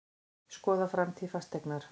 Skoða framtíð Fasteignar